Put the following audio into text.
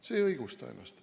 See ei õigusta ennast.